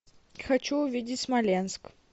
хочу увидеть смоленск